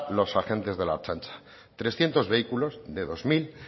los agentes de la ertzaintza trescientos vehículos de dos mil